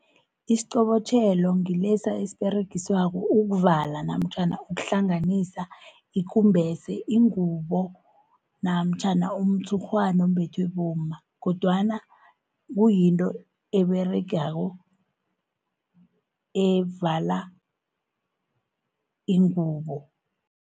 Isiqobotjhelo ngilesa esiberegiswako ukuvala, namtjhana ukuhlanganisa ikumbese, ingubo namtjhana umtshurhwana obethwe bomma, kodwana kuyinto eberegako evala ingubo.